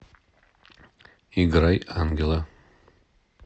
играй ангела